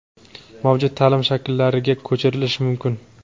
mavjud taʼlim shakllari)ga ko‘chirishi mumkin.